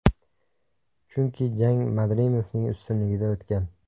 Chunki jang Madrimovning ustunligida o‘tgan.